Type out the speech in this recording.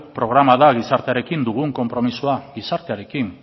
programa da gizartearekin dugun konpromisoa gizartearekin